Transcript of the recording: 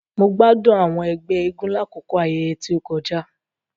Mo gbádùn àwọn ègbé eégún lakoko àwọn ayẹyẹ ti o kọjá.